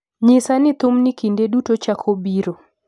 nyisa ni thumni kinde duto chako biro